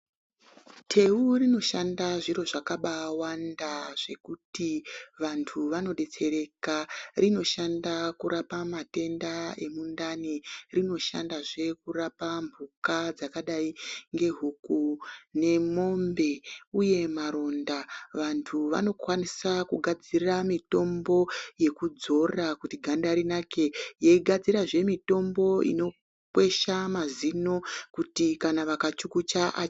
Teu rino baishanda zviro zvakawanda zvekuti vanhu vano detsetsereka rinoshanda zvakawanda rinoshanda kurapa mhuka dzakadai ngehuku nemombe uye maronda vantu vanokwanisa kugadzira mitombo yekudzora kuti ganda rinake yei gadzirazve mitombo inokwesha mazino kuti kana vaka chukucha.